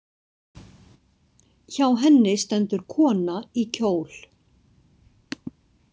Hjá henni stendur kona í kjól.